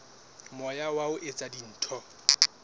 moya wa ho etsa dintho